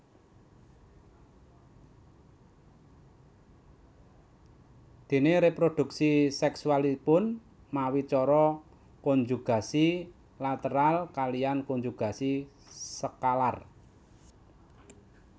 Déné réprodhuksi sèksualipun mawi cara konjugasi lateral kaliyan konjugasi skalar